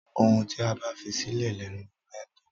Ohun tí a bá fisílẹ̀ lẹnu ewúrẹ ńtó.